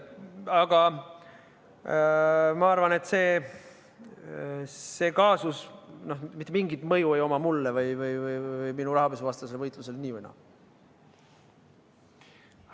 Aga ma arvan, et see kaasus ei oma mulle ega minu rahapesuvastasele võitlusele mitte mingisugust mõju.